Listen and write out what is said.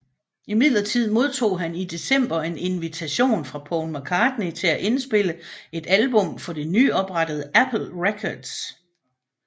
Imidlertid modtog han i december en invitation fra Paul McCartney til at indspille et album for det nyoprettede Apple Records